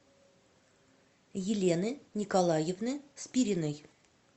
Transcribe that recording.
елены николаевны спириной